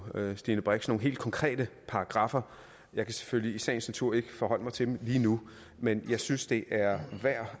stine brix nogle helt konkrete paragraffer jeg kan selvfølgelig i sagens natur ikke forholde mig til dem lige nu men jeg synes at det er værd